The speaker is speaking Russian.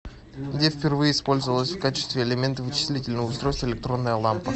где впервые использовалась в качестве элемента вычислительного устройства электронная лампа